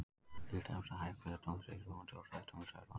Til dæmis að hægferðug tónlist sé róandi og hröð tónlist örvandi.